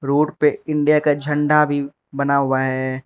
Board पे India का झंडा भी बना हुआ है।